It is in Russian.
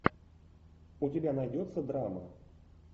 у тебя найдется драма